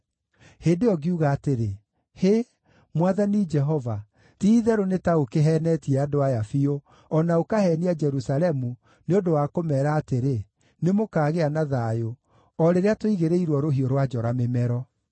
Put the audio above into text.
Hĩndĩ ĩyo ngiuga atĩrĩ: “Hĩ! Mwathani Jehova, ti-itherũ nĩ ta ũkĩheenetie andũ aya biũ, o na ũkaheenia Jerusalemu, nĩ ũndũ wa kũmeera atĩrĩ, ‘Nĩmũkaagĩa na thayũ,’ o rĩrĩa tũigĩrĩirwo rũhiũ rwa njora mĩmero.”